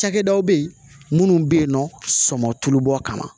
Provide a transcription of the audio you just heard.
Cakɛdaw bɛ yen minnu bɛ yen nɔ sɔ sɔ tulu bɔ kama